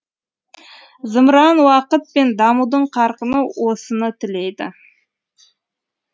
зымыран уақыт пен дамудың қарқыны осыны тілейді